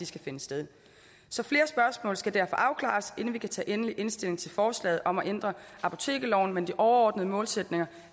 skal finde sted så flere spørgsmål skal derfor afklares inden vi kan tage endelig stilling til forslaget om at ændre apotekerloven men de overordnede målsætninger